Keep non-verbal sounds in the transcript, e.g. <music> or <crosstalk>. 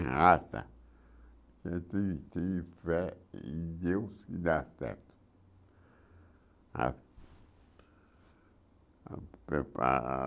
Ter raça você tem tem fé em Deus que dá certo. A a <unintelligible>